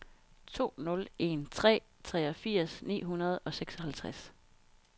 to nul en tre treogfirs ni hundrede og seksoghalvtreds